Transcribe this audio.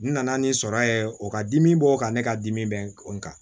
N nana ni sɔrɔ ye o ka dimi bɔ o kan ne ka dimi bɛ n kan